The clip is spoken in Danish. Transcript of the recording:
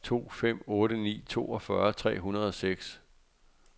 to fem otte ni toogfyrre tre hundrede og seks